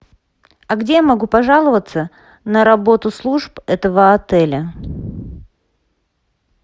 а где я могу пожаловаться на работу служб этого отеля